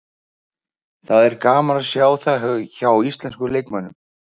Það er gaman að sjá það hjá íslenskum leikmönnum.